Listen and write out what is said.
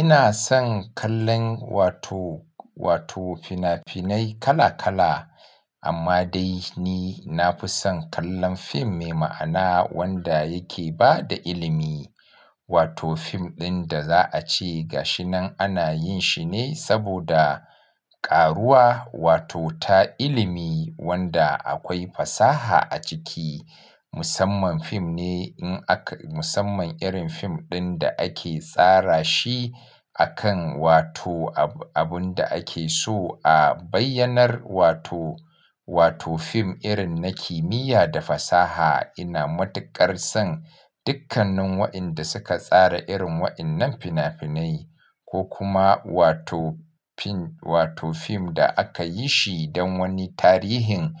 Ina son kallon wato, wato fina-finai kala kala amma dai ni nafi son kallon fim mai ma'ana wanda yake bada ilimi. Wato fim ɗin da za a ce ga shi nan ana yin shi ne saboda karuwa wato ta ilimi wanda akwai fasaha a ciki. Musamman fim ne in aka, musamman irin fim ɗin da ake tsara shi a kan wato abun da ake so a bayyanar wato, wato fim irin na kimiyya da fasaha. Ina matuƙar son dukkannin wa inɗa suka tsara irin waɗannan fina-finai ko kuma wato fin, wato fim da aka yi shi don wani tarihin